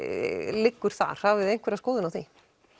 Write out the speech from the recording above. liggur þar hafið þið einhverja skoðun á því